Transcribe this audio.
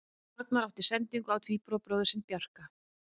Arnar átti sendingu á tvíburabróðir sinn Bjarka.